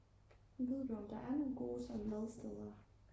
ved du om der er nogle gode sådan madsteder?